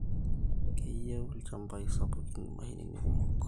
Keyieu ilchambai sapukin imashinini kumok